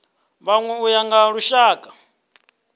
vhanwe u ya nga lushaka